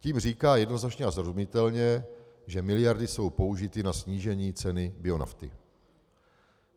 Tím říká jednoznačně a srozumitelně, že miliardy jsou použity na snížení ceny bionafty.